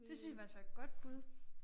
Det synes jeg faktisk var et godt bud